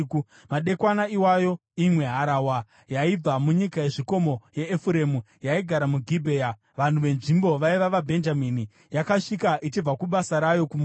Madekwana iwayo, imwe harahwa yaibva munyika yezvikomo yeEfuremu, yaigara muGibhea (vanhu venzvimbo vaiva vaBhenjamini), yakasvika ichibva kubasa rayo kumunda.